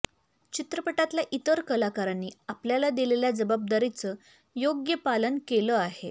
चित्रपटातल्या इतर कलाकारांनी आपल्याला दिलेल्या जबाबदारीचं योग्य पालन केलं आहे